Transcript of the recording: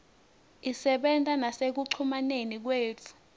isebenta nasekucumaneni kwethu